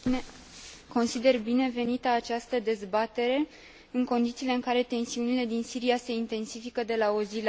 Consider binevenită această dezbatere, în condițiile în care tensiunile din Siria se intensifică de la o zi la alta.